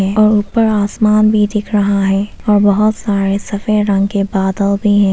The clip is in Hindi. और ऊपर आसमान भी दिख रहा है और बहुत सारे सफेद रंग के बादल भी हैं।